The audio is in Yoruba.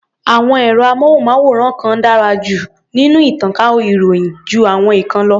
Àwọn ẹ̀rọ-amóhùnmáwòrán kan dárá nínú ìtànká ìròyìn jú àwọn ìkan lọ.